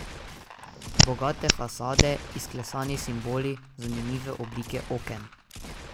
Bogate fasade, izklesani simboli, zanimive oblike oken.